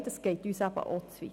«Nein, das geht uns zu weit»?